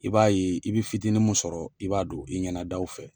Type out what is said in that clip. I b'a ye i bɛ fitin mun sɔrɔ i b'a don i ɲɛna daw fɛ.